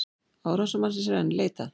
Árásarmannsins er enn leitað